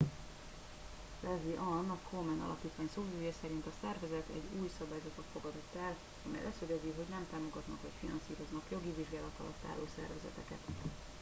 leslie aun a komen alapítvány szóvivője szerint a szervezet egy új szabályzatot fogadott el amely leszögezi hogy nem támogatnak vagy finanszíroznak jogi vizsgálat alatt álló szervezeteket